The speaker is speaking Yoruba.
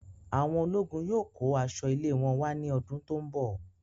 Awọn ológun yóò kó aṣọ ilé wọn wà ní ọdún tó n bọ